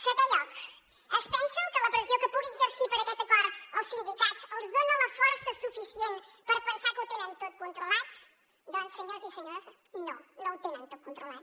setè lloc es pensen que la pressió que puguin exercir per a aquest acord els sindicats els dona la força suficient per pensar que ho tenen tot controlat doncs senyors i senyores no no ho tenen tot controlat